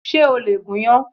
Ṣé o lè gúnyán?